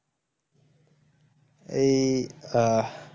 এই আহ